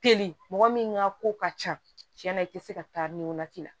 Teli mɔgɔ min ka ko ka ca tiɲɛna i tɛ se ka taa nin wagati la